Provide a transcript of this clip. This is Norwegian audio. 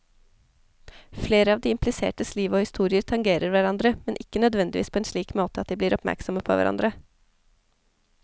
Flere av de implisertes liv og historier tangerer hverandre, men ikke nødvendigvis på en slik måte at de blir oppmerksomme på hverandre.